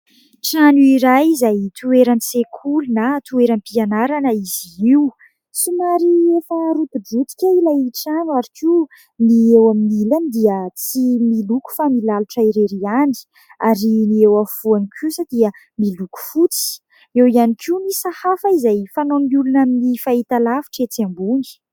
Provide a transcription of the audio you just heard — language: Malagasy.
trano iray izay toeran'i sekoly na toeran'ny mpianarana izy io tsy mary efa roti-botika ilay itrano ary koa ny eo amin'ny ilany dia tsy miloko fa milalitra erery ihany ary ny eo anfoan'ny kosa dia miloko fotsy eo ihany koa nysahafa izay fanao amin'ny olona amin'ny fahita lavitra etsy ambony